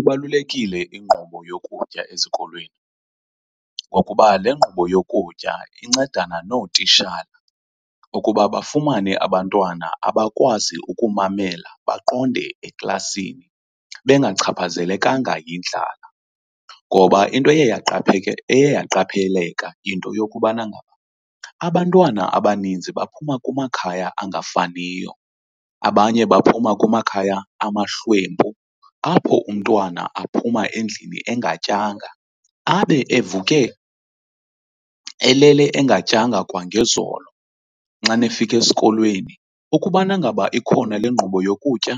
Ibalulekile inkqubo yokutya ezikolweni, ngokuba le nkqubo yokutya incedane nootitshala ukuba bafumane abantwana abakwazi ukumamela baqonde eklasini bengachaphazelekanga yindlala. Ngoba into eye , eye yaqapheleka yinto yokubana abantwana abaninzi baphuma kumakhaya angafaniyo, abanye baphuma kumakhaya amahlwempu apho umntwana aphuma endlini engatyanga abe evuke elele engatyanga kwangezolo. Xana efika esikolweni ukubana ngaba ikhona le nkqubo yokutya